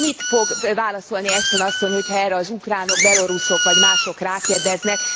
Mit fog válaszolni Ashton asszony, hogy ha erre az ukránok, beloruszok, vagy mások rákérdeznek.